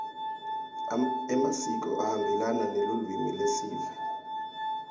emasiko ahambelana nelulwimi lesive